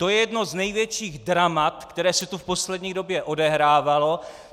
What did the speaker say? To je jedno z největších dramat, které se tu v poslední době odehrávalo.